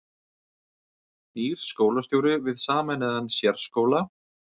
Nýr skólastjóri við sameinaðan sérskóla